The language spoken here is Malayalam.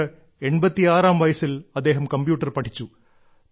അതുകൊണ്ട് 86 ാം വയസ്സിൽ അദ്ദേഹം കമ്പ്യൂട്ടർ പഠിച്ചു